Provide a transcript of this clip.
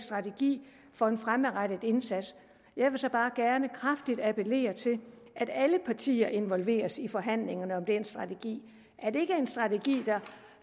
strategi for en fremadrettet indsats jeg vil så bare gerne kraftigt appellere til at alle partier involveres i forhandlingerne om den strategi at det ikke er en strategi